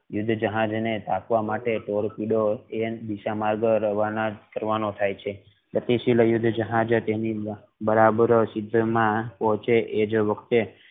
યુદ્ધ જહાજ ને રાખવા માટે તે જ દિશા માં રવાના કરવાનું થઈ છે યુદ્ધ જહાજે બરાબર સિંધના ટોચે એ જ વખતે